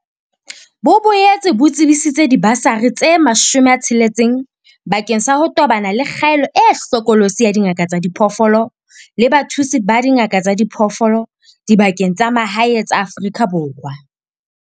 Bo boetse bo tsebisitse dibasari tse 60 bakeng sa ho tobana le kgaello e hlokolosi ya dingaka tsa diphoofolo le bathusi ba dingaka tsa diphoofolo dibakeng tsa mahae tsa Afrika Borwa.